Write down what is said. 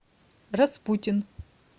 распутин